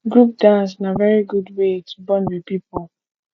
group dance na very good wey to bond with people